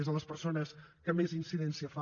és a les persones que més incidència fa